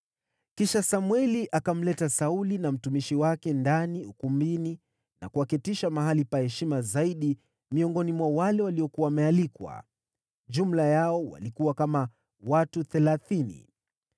Kisha Samweli akamleta Sauli na mtumishi wake ndani ukumbini na kuwaketisha mahali pa heshima zaidi miongoni mwa wale waliokuwa wamealikwa; jumla yao walikuwa kama watu thelathini.